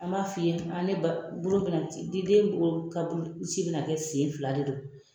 An b'a f'i ye ne b mina di den ka bolo ci be na kɛ sen fila de don.